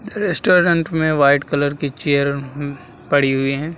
Restaurant में white colour की chair अम्म पड़ी हुई हैं।